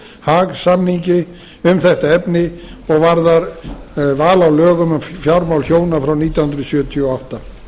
haag samningi um þetta efni og varðar val á lögum um fjármál hjóna frá nítján hundruð sjötíu og átta